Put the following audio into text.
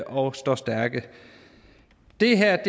og står stærkt det her